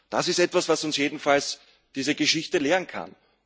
Das ist etwas, was uns jedenfalls diese Geschichte lehren kann.